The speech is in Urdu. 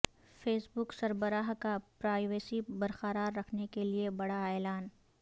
فیس بک سربراہ کا پرائیویسی برقرار رکھنے کیلیے بڑا اعلان